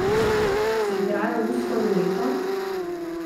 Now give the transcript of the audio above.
Se igrajo rusko ruleto?